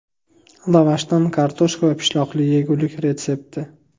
Lavashdan kartoshka va pishloqli yegulik retsepti.